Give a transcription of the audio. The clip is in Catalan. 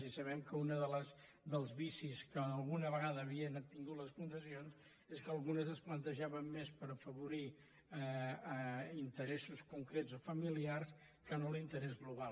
i sabem que un dels vicis que alguna vegada havien tingut les fundacions és que algunes es plantejaven més per afavorir interessos concrets o familiars que no l’interès global